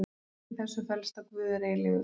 Í þessu felst að Guð er eilífur.